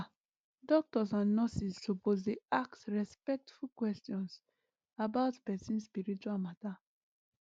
ah doctors and nurses suppose dey ask respectful questions about person spiritual matter